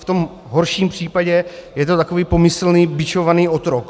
V tom horším případě je to takový pomyslný bičovaný otrok.